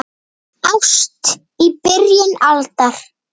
Ást í byrjun aldar